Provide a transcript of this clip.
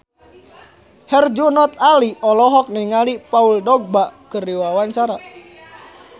Herjunot Ali olohok ningali Paul Dogba keur diwawancara